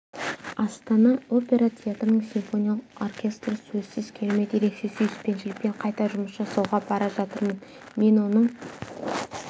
астана опера театрының симфониялық оркестрі сөзсіз керемет ерекше сүйіспеншілікпен қайта жұмыс жасауға бара жатырмын мен оның